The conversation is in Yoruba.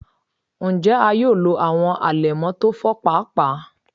Njẹ a yoo lo awọn alẹmọ ti o fọ paapaa?